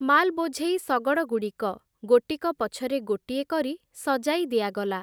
ମାଲ୍ ବୋଝେଇ ଶଗଡ଼ଗୁଡ଼ିକ, ଗୋଟିକ ପଛରେ ଗୋଟିଏ କରି ସଜାଇ ଦିଆଗଲା ।